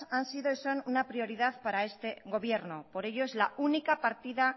han sido y son una prioridad para este gobierno por ello es la única partida